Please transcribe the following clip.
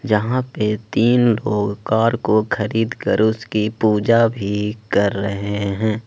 यहां पर तीन लोग कार को खरीद कर उसकी पूजा भी कर रहे हैं।